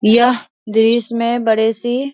यह दृस में बड़े-सी --